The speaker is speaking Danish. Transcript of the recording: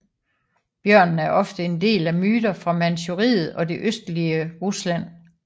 Bjørnen er ofte en del af myter fra Manchuriet og det østlige Rusland